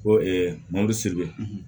Ko mɔbili